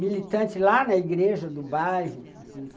militante lá na igreja do bairro.